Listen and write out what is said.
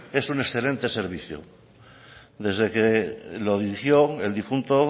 es un excelente servicio desde que lo dirigió el difunto